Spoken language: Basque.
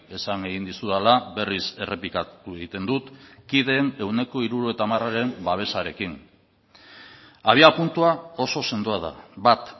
esan egin dizudala berriz errepikatu egiten dut kideen ehuneko hirurogeita hamararen babesarekin abiapuntua oso sendoa da bat